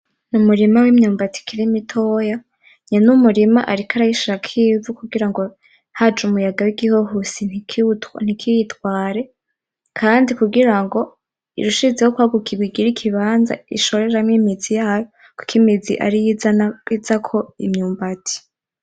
N'umurima w'imyumbati ikiri mitoya, nyene umurima ariko arayishirako ikivu kugira ngo haje umuyaga w'igihohisi ntikiyitware, kandi kugira ngo irushizeho kwaguka ibigire ikibanza ishoreramwo imizi yayo, kuko imizi ariyo izako imyumbati.